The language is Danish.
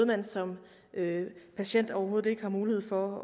man som patient overhovedet ikke har mulighed for